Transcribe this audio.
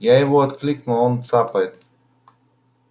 я его окликнул а он цапает